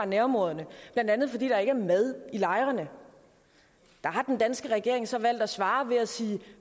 nærområderne blandt andet fordi der ikke er mad i lejrene der har den danske regering så valgt at svare ved at sige at